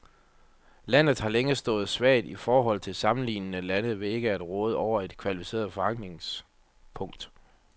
Landet har længe stået svagt i forhold til sammenlignelige lande ved ikke at råde over et kvalificeret forankringspunkt.